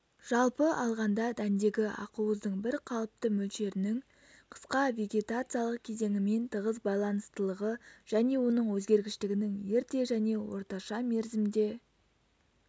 жалпы алғанда дәндегі ақуыздың бірқалыпты мөлшерінің қысқа вегетациялық кезеңімен тығыз байланыстылығы және оның өзгергіштігінің ерте және орташа мерзімде